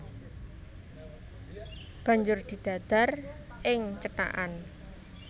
Banjur didadar ing cethakan